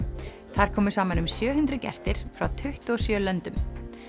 þar komu saman um sjö hundruð gestir frá tuttugu og sjö löndum